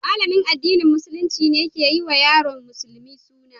Malamin addinin Musulunci ne ke yi wa yaron musulmi suna.